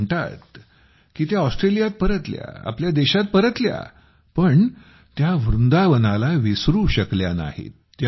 त्या म्हणतात की त्या ऑस्ट्रेलियात परतल्या आपल्या देशात परतल्या पण त्या वृंदावनाला विसरू शकल्या नाहीत